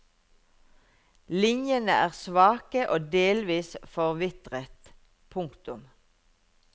Linjene er svake og delvis forvitret. punktum